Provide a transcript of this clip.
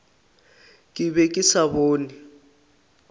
ke be ke sa bone